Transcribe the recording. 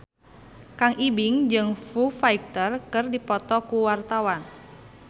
Kang Ibing jeung Foo Fighter keur dipoto ku wartawan